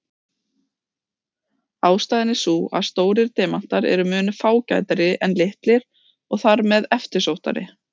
Ástæðan er sú að stórir demantar eru mun fágætari en litlir og þar með eftirsóttari.